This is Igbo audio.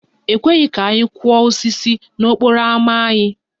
E kweghị ka anyị kụọ osisi n'okporo ámá anyị